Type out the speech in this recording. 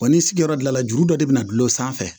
Wa ni sigiyɔrɔ dilan juru dɔ de bɛ na gulɔ sanfɛ